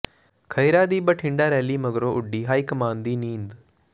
ਖਹਿਰਾ ਦੀ ਬਠਿੰਡਾ ਰੈਲੀ ਮਗਰੋਂ ਉੱਡੀ ਹਾਈਕਮਾਨ ਦੀ ਨੀਂਦ